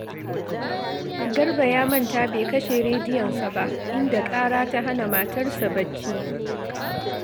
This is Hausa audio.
Garba ya manta bai kashe rediyonsa ba, inda ƙara ta hana matarsa barci